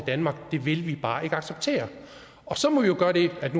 danmark vil vi bare ikke acceptere så må vi jo gøre det at